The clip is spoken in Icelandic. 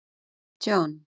John